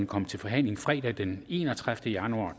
komme til forhandling fredag den enogtredivete januar